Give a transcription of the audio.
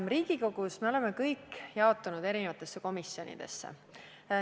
Me kõik oleme Riigikogus jaotunud eri komisjonidesse.